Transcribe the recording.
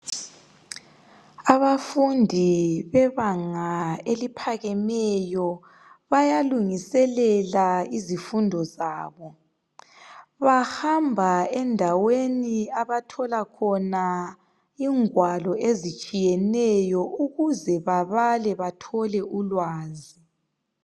Abafundi bebanganga eliphakemeyo ,bayalungiselela izifundo zabo . bahamba endaweni abathola khona ingwalo ezitshiyeneyo ukuze babale bathole ulwazi.